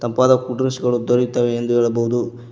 ತಂಪಾದ cool drinks ಗಳು ದೊರೆಯುತ್ತವೆ ಎಂದು ಹೇಳಬಹುದು.